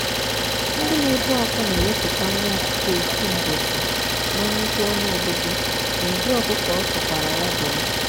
ndị na ebu akwa na ewepụta nwa ọkụkọ ofu mbosi na nnukwu ọnụ ọgụgụ n'ụdị ọkụkọ ọsọ kwara ya bụrụ.